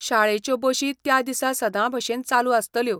शाळेच्यो बशी त्या दिसा सदांभशेन चालू आसतल्यो.